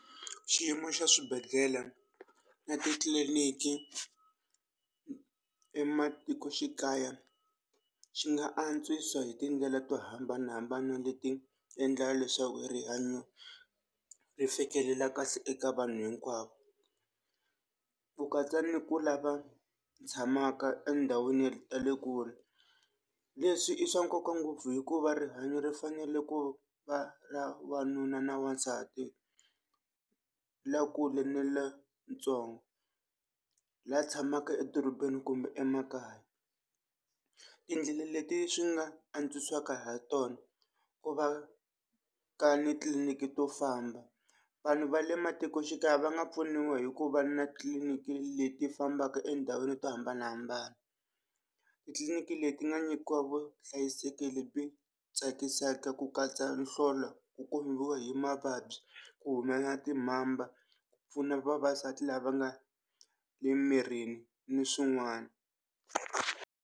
Xiyimo xa swibedhlele na titliliniki ematikoxikaya xi nga antswisa hi tindlela to hambanahambana leti endla leswaku rihanyo ri fikelela kahle eka vanhu hinkwavo, ku katsa ni ku lava tshamaka endhawini ta le kule. Leswi i swa nkoka ngopfu hikuva rihanyo ri fanele ku va ra wanuna na wansati lakulu ni lantsongo, la tshamaka adorobeni kumbe emakaya. Tindlela leti swi nga antswisaka ha tona ku va ka ni tliliniki to famba, vanhu va le matikoxikaya va nga pfuniwa hi ku va na titliliniki leti fambaka endhawini to hambanahambana. Titliliniki leti nga nyikiwa vuhlayiseki lebyi tsakisaka ku katsa nhlolo ku hi mavabyi, ku humelela timbamba pfuna vavasati lava nga le mirini ni swin'wana.